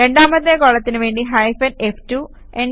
രണ്ടാമത്തെ കോളത്തിനുവേണ്ടി hyphen F2